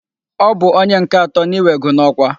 Ọ bụ ónyé nke atọ n'iwego n'ọkwa.